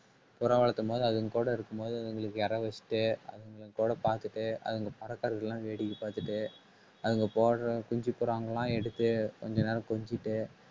புறா வளர்த்தும் போது அதுங்க கூட இருக்கும்போது அதுங்களுக்கு இரை வச்சுட்டு அதுங்களோட பாத்துட்டு அதுங்கபறக்கறதுல வேடிக்கை பார்த்துட்டு அவங்க போடுற குஞ்சு புறா எல்லாம் எடுத்து கொஞ்ச நேரம் கொஞ்சிட்டு